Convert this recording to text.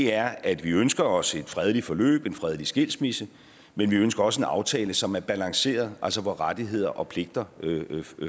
er at vi ønsker os et fredeligt forløb en fredelig skilsmisse men vi ønsker også en aftale som er balanceret altså hvor rettigheder og pligter